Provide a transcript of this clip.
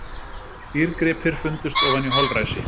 Dýrgripir fundust ofan í holræsi